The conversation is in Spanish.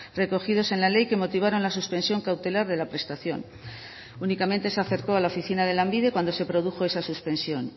recogidos en la ley que motivaron la suspensión cautelar de la prestación únicamente se acercó a la oficina de lanbide cuando se produjo esa suspensión